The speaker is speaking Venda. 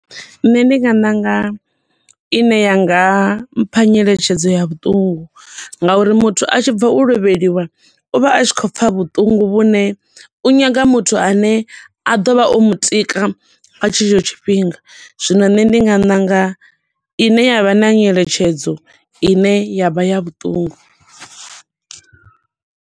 Nṋe ndi nga ṋanga ine ya nga mpha nyeletshedzo ya vhuṱungu, nga uri muthu a tshi bva u lovheliwa u vha a tshi khou pfa vhuṱungu vhune u nyaga muthu a ne a ḓovha o mutika nga tshetsho tshifhinga. Zwino nṋe ndi nga ṋanga ine ya vha na nyeletshedzo ine ya vha ya vhuṱungu.